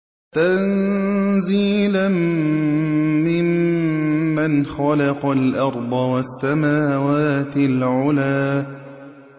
تَنزِيلًا مِّمَّنْ خَلَقَ الْأَرْضَ وَالسَّمَاوَاتِ الْعُلَى